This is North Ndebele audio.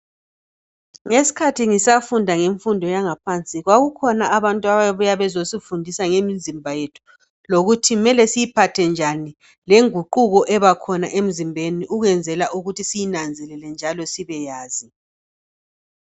Ngesikhathi ngisafunda ngenfundo yangaphansi ,kwakukhona abantu ababebuya bazesifundisa ngemizimba yethu .Lokuthi kumele siyiphathe njani lenguquko ebakhona emzimbeni ukwenzela ukuthi siyinanzelele njalo sibeyazi.